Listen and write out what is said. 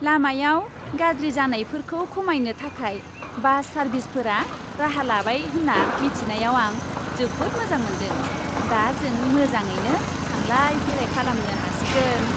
लामायाव गाज्रि जानायफोरखौ खमायनो थाखाय बास सारभिसफोरा राहा लाबाय होन्ना मोन्थिनायाव आं जोबोद मोजां मोनदों, दा जों मोजाङैनो थांलाय फैलाय खालामनो हासिगोन।